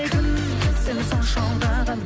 кім сені сонша алдаған